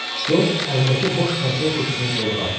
Corc əlindəki boş konserv qutusunu kolluğa atdı.